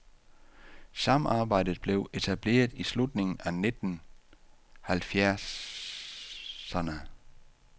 Samarbejdet blev etableret i slutningen af nitten halvfjerdserne.